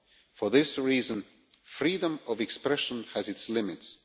For this reason, freedom of expression has its limits.